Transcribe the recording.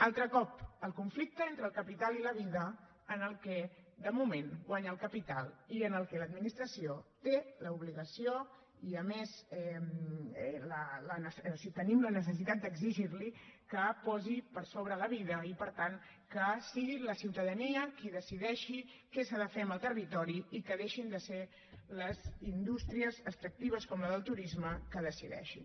altre cop el conflicte entre el capital i la vida en el que de moment guanya el capital i en el que l’administració té l’obligació i a més tenim la necessitat d’exigir li que posi per sobre la vida i per tant que sigui la ciutadania qui decideixi què s’ha de fer amb el territori i que deixin de ser les indústries extractives com la del turisme les que decideixin